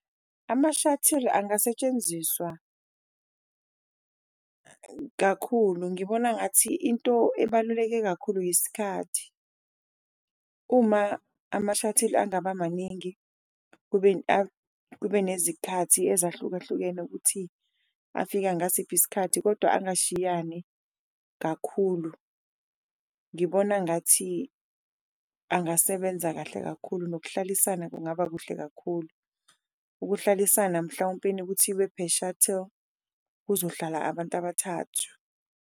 Ama-shuttle angasetshenziswa kakhulu ngibona ngathi into ebaluleke kakhulu yisikhathi, uma amashathili angaba maningi, kube kube nezikhathi ezahlukahlukene ukuthi afika ngasiphi isikhathi kodwa angashayani kakhulu. Ngibona ngathi angasebenza kahle kakhulu nokuhlalisana kungaba kuhle kakhulu, ukuhlalisana mhlawumpeni ukuthi ibe per shutter kuzohlala abantu abathathu.